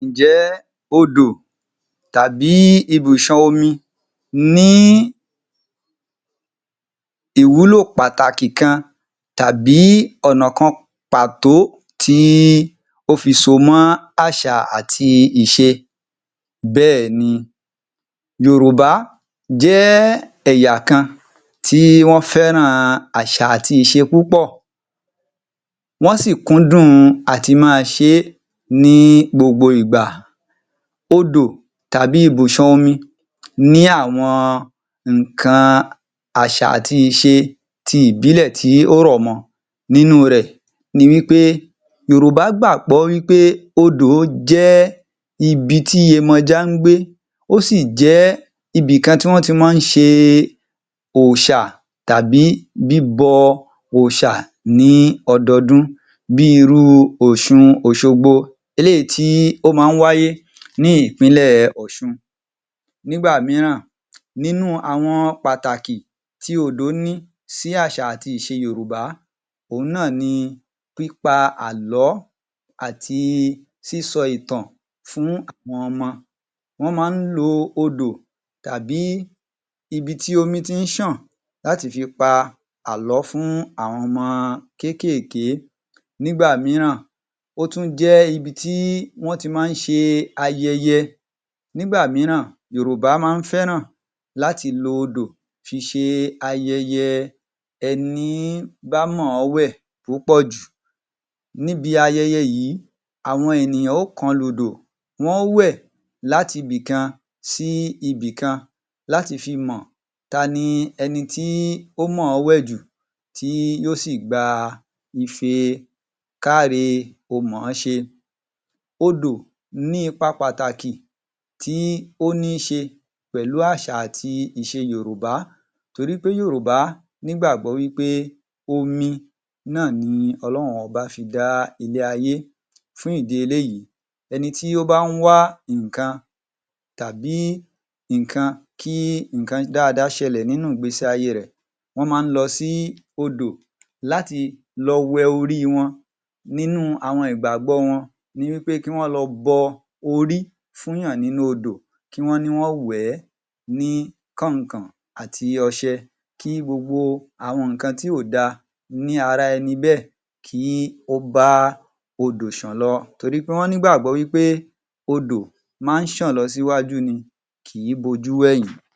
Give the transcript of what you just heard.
Ǹjẹ́ odò tàbí ibùṣàn omi ní ìwúlò pàtàkì kan tàbí ọ̀nà kan pàtó tí ó fi so mọ́ àṣà àti ìse? Bẹ́èni, Yorùbá jẹ́ ẹ̀yà kan tí wọ́n fẹ́ràn àṣà àti ìṣe púpọ̀, wọ́n sì kúndùn à ti máa ṣe ní gbogbo ìgbà. Odò tàbí ibùṣàn omi ní àwọn ǹnkan àṣà àti ìṣe ti ìbílẹ̀ tí ó rọ̀ mọ. Nínú rẹ̀ ni wí pé Yorùbá gbàgbọ́ wí pé odò jẹ́ ibi ti Iyemọja ń gbé, ó sì jẹ́ ibikan tí wọ́n ti máa ń ṣe òrìṣà tàbí bíbọ òrìṣà ní ọdọdún bí i irú ọ̀ṣun òṣogbo, eléyìí tí ó máa ń wáyé ní ìpínlẹ̀ Ọ̀ṣun. Nígbà mìíràn, nínú àwọn pàtàkì tí odò ní sí àṣà àti ìṣe Yorùbá, òun náà ni pípa àlọ́ àti sísọ ìtàn fún àwọn ọmọ. Wọ́n máa ń lo odò tàbí ibi ti omi ti ń ṣàn láti fi pa àlọ́ fún àwọn ọmọ kẹ́kèké, nígbà mìíràn, ó tún jẹ́ ibi tí wọ́n ti máa ń ṣe ayẹyẹ, nígbà mìíràn Yorùbá máa ń fẹ́ràn láti lo odò fi ṣe ayẹyẹ ẹní bá mọ̀ ọ́ wẹ̀ púpọ̀jù, níbi ayẹyẹ yìí àwọn ènìyàn ó kọlù odò, wọ́n ó wẹ̀ láti ibi kan sí ibi kan láti fi mọ̀ ta ni ẹnití ó mọ̀ wẹ̀ jù tí yóò si gba ife káre-o-mọ̀ọ́-ṣe. Odò ní ipa pàtàkì tí ó níṣe pẹ̀lú àṣà àti ìṣe Yorùbá torí pé Yorùbá nígbàgbọ́ wí pé omi náà ni Ọlọ́run ọba fi dá ilé-ayé fún ìdí eléyìí, ẹni tí ó bá ń wá nǹkan tàbí nǹkan kí nǹkan dáadáa ṣẹlẹ̀ nínú ìgbésí ayé rẹ̀, wọ́n máa ń lọ sí odò láti lọ wẹ orí wọn. Nínú àwọn ìgbàgbọ́ wọn ni wí pé kí wọ́n lọ bọ orí fún yàn nínú odò, kí wọ́n ní wọ́n wẹ̀ ẹ́ ní kàn-ìn-kàn-ìn àti ọṣe, kí gbogbo àwọn nǹkan tí ò da ní ara ẹni bẹ́ẹ̀ kí ó bá odò ṣàn lọ torí pé wọ́n ní ìgbàgbọ́ wí pé odò máa ń ṣàn lọ síwájú ni, kì í bojú wẹ̀yìn.